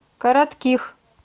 коротких